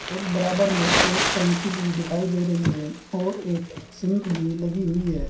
और बराबर में एक टंकी भी दिखाई दे रही है और एक सिंक भी लगी हुई है।